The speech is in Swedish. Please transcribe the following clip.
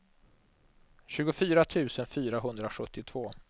tjugofyra tusen fyrahundrasjuttiotvå